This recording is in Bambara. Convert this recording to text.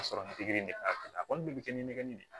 A sɔrɔ nin de b'a la a kɔni bɛ kɛ ni nɛgɛ nin de ye